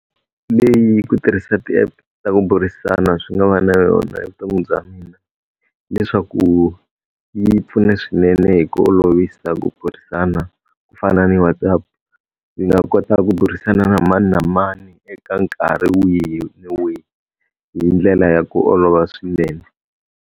Leyi ku tirhisa ti-app ta ku burisana swi nga va na yona evuton'wini bya mina, hileswaku yi pfune swinene hi ku olovisa ku burisana. Ku fana ni WhatsApp, ni nga kota ku burisana na mani na mani eka nkarhi wihi na wihi hi ndlela ya ku olova swinene.